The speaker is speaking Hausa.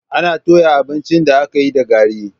Ana toya abincin da aka yi da gari.